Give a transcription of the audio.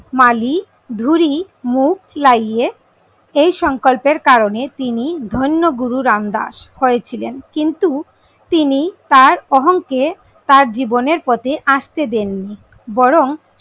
মালি ধুরি মুখ লাগিয়ে এই সংকল্পের কারণে তিনি ধন্য গুরু রামদাস হয়ে ছিলেন। কিন্তু তিনি তার অহং কে তার জীবনের পথে আসতে দেননি বরং,